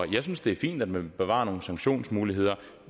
jeg synes det er fint at man vil bevare nogle sanktionsmuligheder